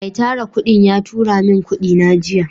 Mai Tara kudin ya turamin kudina jiya.